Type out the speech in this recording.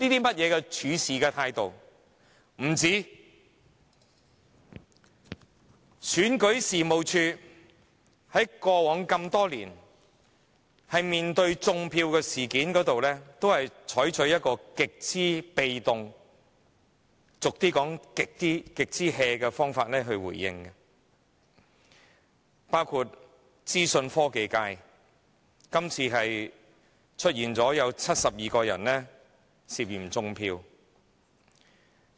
不僅如此，選舉事務處過往多年在處理"種票"的事情上，都採取極為被動或俗語說是極""的方法處理。包括資訊科技界，這次竟出現有72個人涉嫌"種票"的情況。